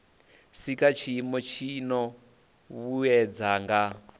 sika tshiimo tshino vhuedza nga